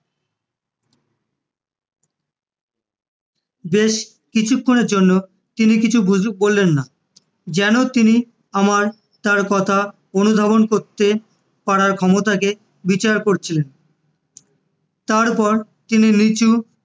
বেশ কিছুক্ষনের জন্য তিনি কিছু বললেন না, যেন তিনি আমার তাঁর কথা তার অনুধাবন করতে পারার ক্ষমতাকে বিচার করছিলেন, তারপর তিনি নীচু